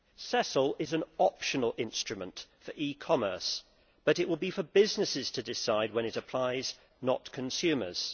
CESL is an optional instrument for e commerce, but it will be for businesses to decide when it applies, not consumers.